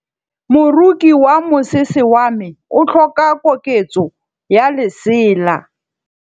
Moroki wa mosese wa me o tlhoka koketsô ya lesela.